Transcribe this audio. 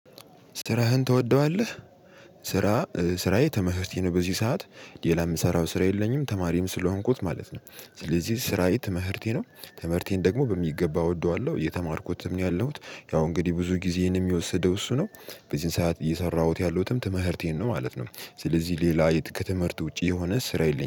ስራህን ትወደዋለህ? ስራ ስራዬ ትምህርቴ ነው በዚህ ሰዓት ሌላ ምሰራው ስራ የለኝም ተማሪም ስለሆንኩት ማለት ነው። ስለዚህ ስራዬ ትምህርቴ ነው። ትምህርቴን ደግሞ በሚገባ እወደዋለሁ የተማርኩትም ያለሁት ያው እንግዲህ ብዙ ጊዜን እሚወስደው እሱ ነው። በዚህን ሰዓት እየሰራሁት ያለሁትም ትምህርቴን ነው ማለት ነው። ስለዚህ ሌላ ከትምህርት ውጪ የሆነ ስራ የለኝም